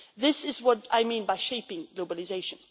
This is what I mean by shaping globalisation.